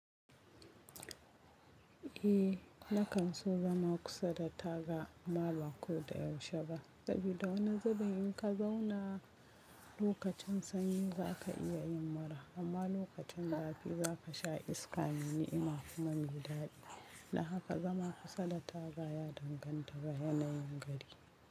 Eh, na kan so zama kusa da taga amma ba ko da yaushe ba. Saboda wani zubin in ka zauna lokacin sanyi za ka iya yin mura amma lokacin zafi za ka sha iska mai ni'ima kuma mai daɗi. Dan haka zama kusa da taga ya danganta da yanayin gari.